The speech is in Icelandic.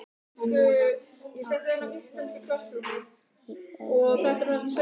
En núna áttu þau heima í öðru húsi.